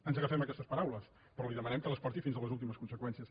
ens agafem a aquestes paraules però li demanem que les porti fins a les últimes conseqüències